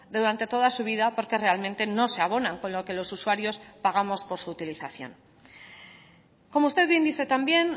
durante toda su vida porque realmente no se abonan con lo que los usuarios pagamos por su utilización como usted bien dice también